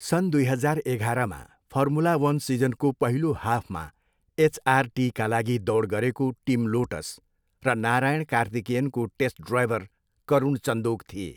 सन् दुई हजार एघारमा फर्मुला वन सिजनको पहिलो हाफमा एचआरटीका लागि दौड गरेको टिम लोटस र नारायण कार्तिकेयनको टेस्ट ड्राइभर करुण चन्दोक थिए।